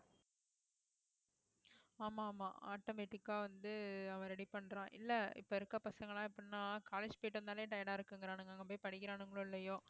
ஆமா ஆமா automatic ஆ வந்து அவன் ready பண்றான் இல்லை இப்போ இருக்க பசங்கெல்லாம் எப்படின்னா college போயிட்டு வந்தாலே tired ஆ இருக்குங்குறானுங்க அங்க போய் படிக்கிறானுங்களோ இல்லையோ